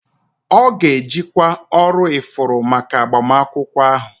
Ọ ga-ejikwa ọrụ ifuru maka agbamakwụkwọ ahụ